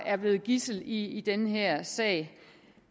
er blevet gidsler i den her sag